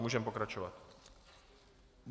Můžeme pokračovat.